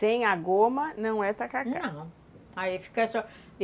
Sem a goma, não é tacacá. Não, aí fica só